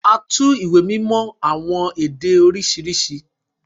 À tù ìwé mímọ si awọn ede oriṣiriṣi